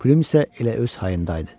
Püm isə elə öz hayında idi.